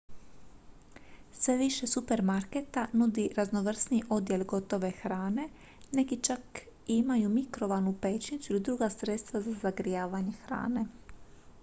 sve više supermarketa nudi raznovrsniji odjel gotove hrane neki čak imaju mikrovalnu pećnicu ili druga sredstva za zagrijavanje hrane